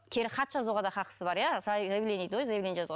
кері хат жазуға да хақысы бар иә заявление дейді ғой заявление жазуға